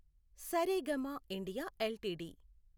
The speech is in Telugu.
Saregama India LTD